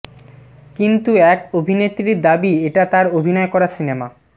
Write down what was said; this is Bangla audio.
কিন্তু এক অভিনেত্রীর দাবি এটা তাঁর অভিনয় করা সিনেমা